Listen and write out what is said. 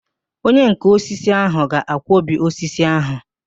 Onyenká osisi ahụ ga-akwọbi osisi ahụ